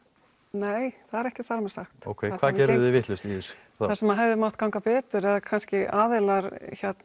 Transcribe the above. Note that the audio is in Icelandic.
nei það er ekki þar með sagt hvað vitlaust í þessu það sem hefði mátt ganga betur er að kannski aðilar